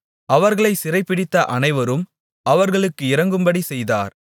அவர்களைச் சிறைபிடித்த அனைவரும் அவர்களுக்கு இரங்கும்படி செய்தார்